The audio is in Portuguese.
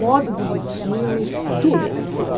modo de vestir, tudo, tudo.